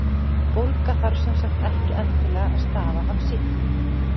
bólga þarf sem sagt ekki endilega að stafa af sýklum